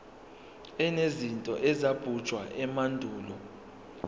enezinto ezabunjwa emandulo